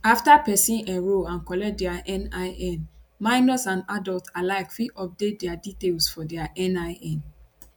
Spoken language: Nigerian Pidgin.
afta pesin enrol and collect dia nin minors and adults alike fit update dia details for dia nin